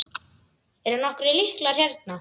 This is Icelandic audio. Eru nokkrir lyklar hérna?